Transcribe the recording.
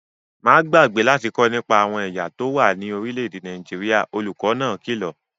Má gbàgbé láti kọ́ nípa àwọn ẹ̀yà tó wà ní orílẹ̀-èdè Nàìjíríà, olùkó náà kìlọ̀